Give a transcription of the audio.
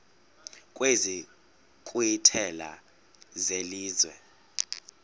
kwezi nkqwithela zelizwe